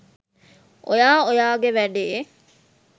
ඔයා ඔයාගේ වැඩේ